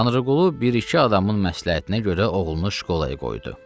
Tanrıqulu bir-iki adamın məsləhətinə görə oğlunu şkolaya qoydu.